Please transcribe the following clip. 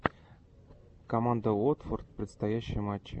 команда уотфорд предстоящие матчи